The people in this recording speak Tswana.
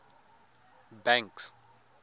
banks